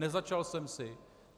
Nezačal jsem si.